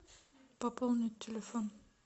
пополнить телефон